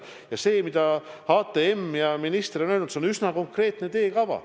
Ja see, mida HTM ja minister on öelnud, on üsna konkreetne teekava.